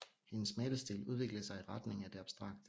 Hendes malestil udviklede sig i retning af det abstrakte